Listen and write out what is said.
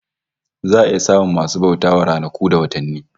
Za a iya samun masu bauta wa ranaku da watanni